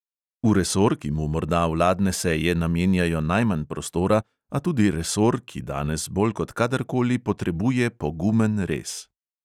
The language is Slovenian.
V resor, ki mu morda vladne seje namenjajo najmanj prostora, a tudi resor, ki danes bolj kot kadarkoli potrebuje pogumen rez.